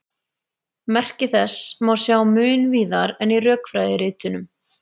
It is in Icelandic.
Merki þessa má sjá mun víðar en í rökfræðiritunum.